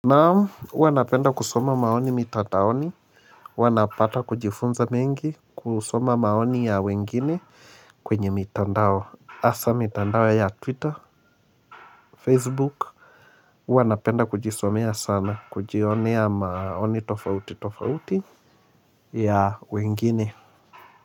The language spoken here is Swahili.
Nao wanapenda kusoma maoni mitataoni Wanapata kujifunza mengi kusoma maoni ya wengine kwenye mitandao asa mitandao ya twitter facebook wanapenda kujisomea sana kujionea maoni tofauti tofauti ya wengine.